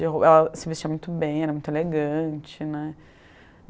Ela se vestia muito bem, era muito elegante, né.